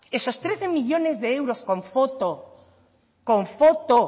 esos trece millónes de euros con foto con foto